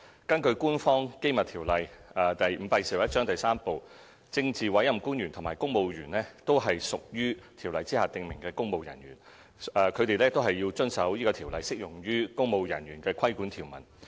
根據《官方機密條例》第 III 部，政治委任官員及公務員均屬條例下訂明的"公務人員"，因此他們均須遵守該條例適用於"公務人員"的規管條文。